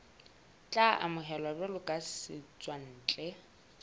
tla amohelwa jwalo ka setswantle